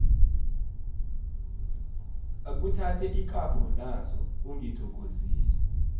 akhuthathe ikapho naso ungithokozise